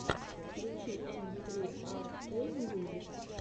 включи эм фри ар кей мьюзик